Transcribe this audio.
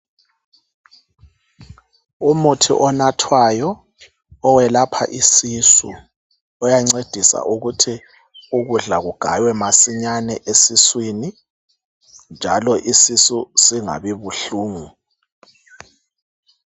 Umuthi onathwayo welapha isisu uyancedisa ukuthi ukudla kugaywe masinyane esiswini njalo isisu singabi buhlungu.